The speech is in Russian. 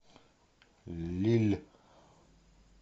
лилль